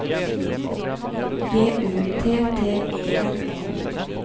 G U T T E N E